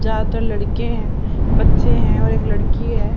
चार तो लड़के हैं बच्चे हैं और एक लड़की हैं।